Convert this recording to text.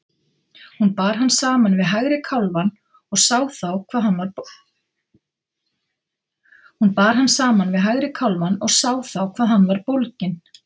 Hún bar hann saman við hægri kálfann og sá þá hvað hann var bólginn.